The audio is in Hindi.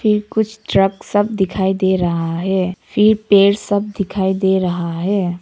कुछ ट्रक सब दिखाई दे रहा है फिर पेड़ सब दिखाई दे रहा है।